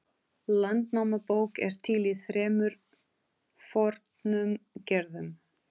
Landnámabók er til í þremur fornum gerðum.